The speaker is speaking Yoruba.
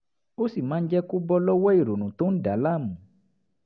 ó sì máa ń jẹ́ kó bọ́ lọ́wọ́ ìrònú tó ń dà á láàmú